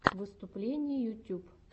выступления ютьюб